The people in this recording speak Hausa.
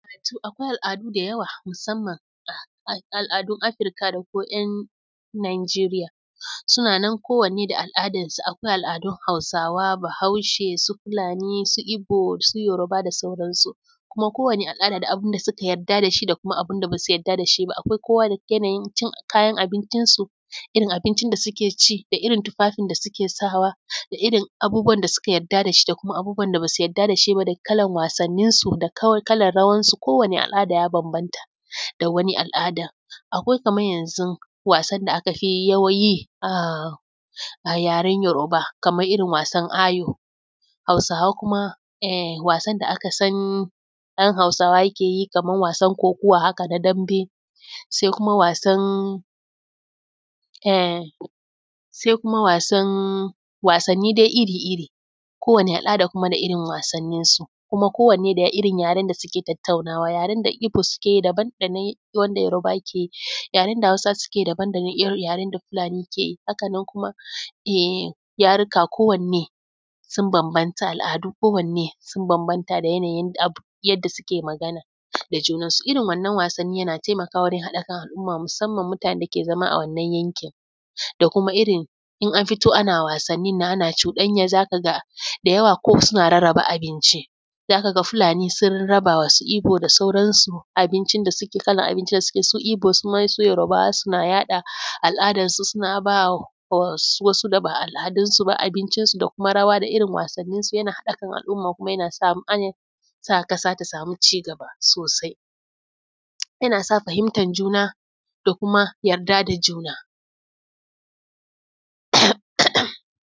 Wato akwai al’adu da yawa musamman al’adun Afirika da kuma ‘yan Njeriya suna nan kowanen da al’adan su. Akwai al’adu hausawa, bahaushe, su Fulani, su ibo, su yaroba, da sauran su. Kuma kowane al’ada da abin da suka yarda da shi da abin da ba su yarda da shi ba. Akwai kowa da yanayin cin kayan abinci su, irin abinci da suke ci, da irin tufafin da suke sawa, da irin abubuwa da suka yarda da shi, da kuma abubuwan da ba su yarda da shi ba, da kalan wasanin su, da kalan rawan su, kowane al’ada ya bambanta da wani al’ada. Akwai kamar yanzu wasan da aka fi yi a yaren yaroba kamar irin wasan ayo, hausawa kuma wasan da aka san ɗan hausawa yake yi kamar wasan kokuwa haka na dambe, sai kuma wasan, wasanni dai iri iri. Kowane al’ada da irin wasannin su, kuma kowane da irin yaren da suke tataunawa. Yaren da ibo suke yi daban da na wanda yaroba ke yi. Yaren da hausa ke yi daban da na irin yaren da Fulani ke yi, haka nan kuma yaruka kowanne sun bambanta al’adu ko wanne sun bambanta da yanayin yanda suke magana da junansu. irin wannan wasannin yana taimakawa wurin haɗa kan al’umma musamman mutana dake zama a wannan yanki da kuma irin in an fito ana wasannin nan ana cuɗaya za ka ga da yawa ko suna rarraba abinci. Za ka ga Fulani sun raba wa su ibo da sauran su abinci da suke kalan abinci da suke so, ibo su ma su yaroba suna yaɗa al’adan su suna ba wasu da ba al’adunsu ba abincinsu da kuma rawa, da irin wasannin su yana haɗa kan al’umma kuma yana sa ƙasa ta samu cigaba sosai. Yana sa fahimtar juna da kuma yarda da juna.